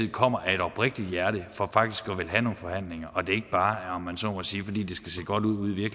kommer af et oprigtigt hjerte for faktisk at ville have nogle forhandlinger og at det ikke bare er om man så må sige fordi det skal se godt ud ude i